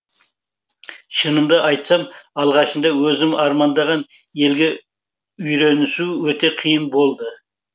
шынымды айтсам алғашында өзім армандаған елге үйренісу өте қиын болды